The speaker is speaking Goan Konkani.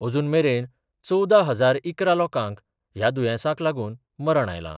अजून मेरेन चवदा हजार इकरा लोकांक ह्या दुयेंसाक लागून मरण आयलां.